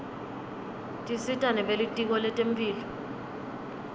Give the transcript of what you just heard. tisita nebelitiko letemphilo